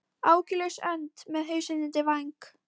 Áhyggjulaus önd með hausinn undir væng.